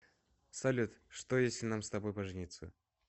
салют что если нам с тобой пожениться